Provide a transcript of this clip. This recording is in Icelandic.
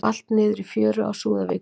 Valt niður í fjöru á Súðavíkurhlíð